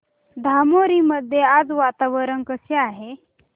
धामोरी मध्ये आज वातावरण कसे आहे